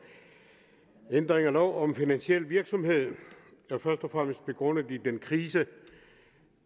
ændring af lov om finansiel virksomhed er først og fremmest begrundet i den krise